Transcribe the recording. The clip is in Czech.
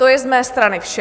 To je z mé strany vše.